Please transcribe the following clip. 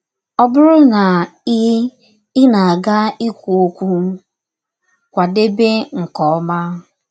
Ọ bụrụ na ị ị na - aga ikwụ ọkwụ, kwadebe nke ọma.